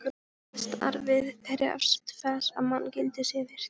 Starfið krefst þess að manngildið sé virt.